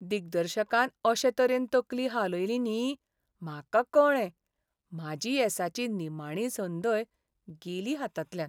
दिग्दर्शकान अशे तरेन तकली हालयली न्ही, म्हाका कळ्ळें, म्हाजी येसाची निमाणी संदय गेली हातांतल्यान.